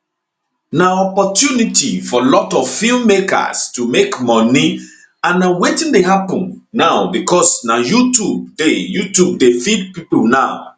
na opportunity for lot of feem makers to make moni and na wetin dey happun now becos na youtube dey youtube dey feed pipo now